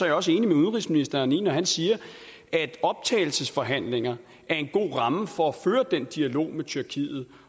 jeg også enig med udenrigsministeren når han siger at optagelsesforhandlinger er en god ramme for at føre den dialog med tyrkiet